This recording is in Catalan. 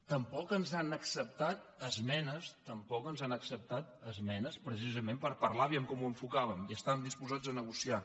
tampoc ens han acceptat esmenes tampoc ens han acceptat esmenes precisament per parlar a veure com ho enfo·càvem i estàvem disposats a negociar